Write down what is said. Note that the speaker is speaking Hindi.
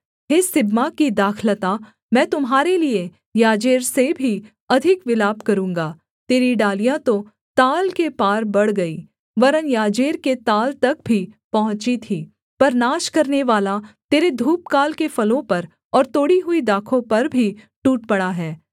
हे सिबमा की दाखलता मैं तुम्हारे लिये याजेर से भी अधिक विलाप करूँगा तेरी डालियाँ तो ताल के पार बढ़ गई वरन् याजेर के ताल तक भी पहुँची थीं पर नाश करनेवाला तेरे धूपकाल के फलों पर और तोड़ी हुई दाखों पर भी टूट पड़ा है